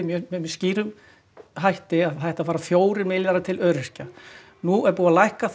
með skýrum hætti að það ættu að fara fjórir milljarðar til öryrkja nú er búið að lækka